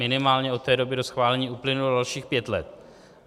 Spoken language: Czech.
Minimálně od té doby do schválení uplynulo dalších pět let.